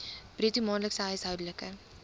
bruto maandelikse huishoudelike